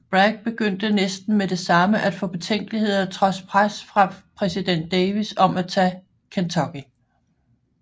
Bragg begyndte næsten med det samme at få betænkeligheder trods pres fra præsident Davis om at tage Kentucky